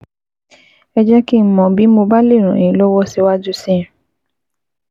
Ẹ jẹ́ kí n mọ̀ bí mo bá lè ràn yín lọ́wọ́ síwájú sí i